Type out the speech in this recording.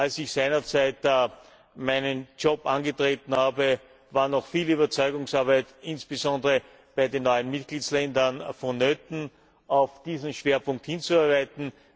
Als ich seinerzeit meinen Job angetreten habe, war noch viel Überzeugungsarbeit, insbesondere bei den neuen Mitgliedstaaten, vonnöten, auf diesen Schwerpunkt hinzuarbeiten.